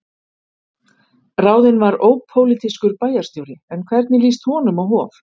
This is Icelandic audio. Ráðinn var ópólitískur bæjarstjóri, en hvernig líst honum á Hof?